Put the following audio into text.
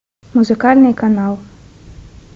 музыкальный канал